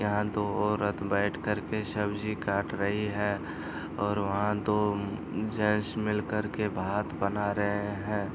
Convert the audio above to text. यहाँ दो औरत बैठ कर के सब्जी काट रही हैं और वहाँ दो जेंट्स मिल कर के भात बना रहे हैं।